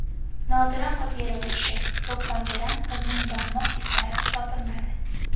Nodira Qodirova ishi: to‘pponchadan qizning barmoq izlari topilmadi.